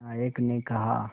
नायक ने कहा